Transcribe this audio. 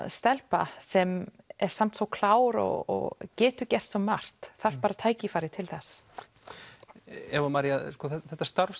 stelpu sem er samt svo klár og getur gert svo margt þarf bara tækifæri til Eva María þetta starf